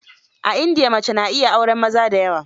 A india, mace na iya auren maza da yawa.